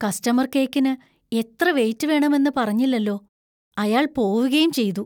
Customer‍ കേക്കിന് എത്ര weight വേണമെന്ന് പറഞ്ഞില്ലല്ലോ. അയാള്‍ പോവുകേം ചെയ്തു.